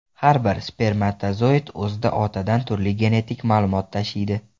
Har bir spermatozoid o‘zida otadan turli genetik ma’lumot tashiydi.